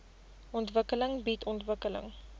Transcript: ontwikkeling bied ontwikkeling